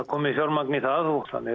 komið fjarmagn í það